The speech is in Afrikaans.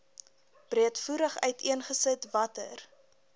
breedvoerig uiteengesit watter